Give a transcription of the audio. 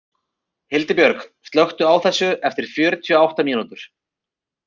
Hildibjörg, slökktu á þessu eftir fjörutíu og átta mínútur.